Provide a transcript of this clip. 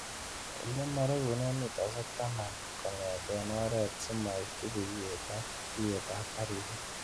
Ilemoregunen mitaisiek taman kong'eten oret simoityi buiwet ak iyetab karisiek.